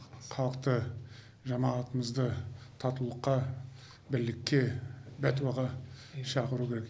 халықты жамағатымызды татулыққа бірлікке пәтуаға шақыру керек